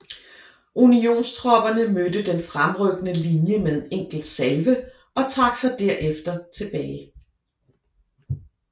Unionstropperne mødte den fremrykkende linje med en enkelt salve og trak sig derefter tilbage